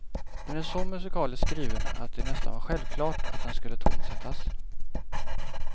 Den är så musikaliskt skriven att det nästan var självklart att den skulle tonsättas.